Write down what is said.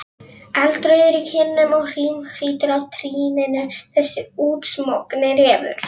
Eldrauður í kinnum og hrímhvítur á trýninu, þessi útsmogni refur!